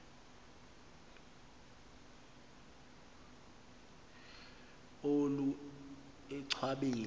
olu enchwa beni